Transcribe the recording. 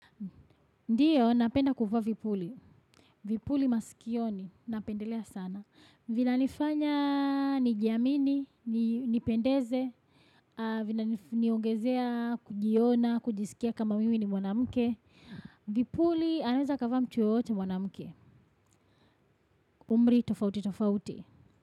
Ndiyo, napenda kuvaa vipuli. Vipuli masikioni, napendelea sana. Vina nifanya, nijiamini, nipendeze, vina niongezea, kujiona, kujisikia kama mimi ni mwanamke. Vipuli, anaweza akavaa mtu yoyote mwanamuke. Umri, tofauti, tofauti.